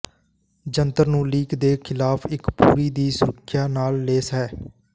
ਜੰਤਰ ਨੂੰ ਲੀਕ ਦੇ ਖਿਲਾਫ ਇੱਕ ਪੂਰੀ ਦੀ ਸੁਰੱਖਿਆ ਨਾਲ ਲੈਸ ਹੈ